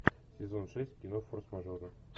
сезон шесть кино форс мажоры